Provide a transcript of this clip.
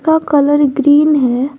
का colour green हैं।